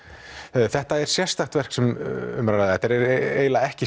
þetta er sérstakt verk sem um er að ræða þetta er eiginlega ekki